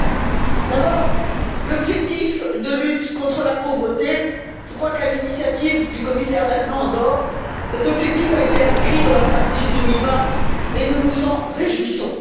Tout d'abord sur l'objectif de lutte contre la pauvreté, je crois qu'à l'initiative du commissaire László Andor cet objectif a été inscrit dans la stratégie 2020, et nous nous en réjouissons.